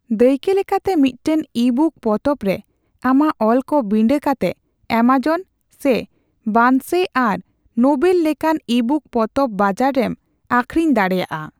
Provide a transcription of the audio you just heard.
ᱫᱟᱹᱭᱠᱟᱹ ᱞᱮᱠᱟᱛᱮ, ᱢᱤᱫᱴᱟᱝ ᱤᱵᱩᱠ ᱯᱚᱛᱚᱵ ᱨᱮ ᱟᱢᱟᱜ ᱚᱞᱠᱚ ᱵᱤᱸᱰᱟᱹ ᱠᱟᱛᱮ ᱟᱢᱟᱡᱚᱱ ᱥᱮ ᱵᱟᱨᱱᱥ ᱟᱨ ᱱᱳᱵᱮᱹᱞ ᱞᱮᱠᱟᱱ ᱤᱵᱩᱠ ᱯᱚᱛᱚᱵ ᱵᱟᱡᱟᱨ ᱨᱮᱢ ᱟᱹᱠᱷᱨᱤᱧ ᱫᱟᱲᱮᱭᱟᱜᱼᱟ ᱾